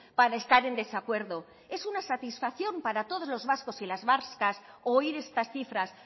para estar en desacuerdo es una satisfacción para todos los vascos y las vascas oír estas cifras